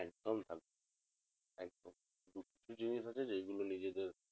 একদম ভালো একদম কিছু কিছু জিনিস আছে যেইগুলো নিজেদের